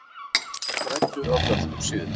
Græddu á dönskum sigri